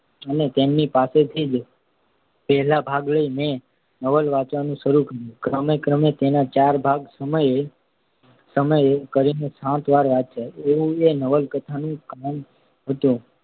અને તેમની પાસેથી જ પહેલો ભાગ લઈ મેં તે નવલ વાંચવાનું શરૂ કર્યું. ક્રમે ક્રમે તેના ચારે ભાગ સમયે સમયે કરીને સાત વાર વાંચ્યા. એવું એ નવલકથાનું કામણ હતું.